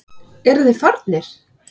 Eru þeir farnir?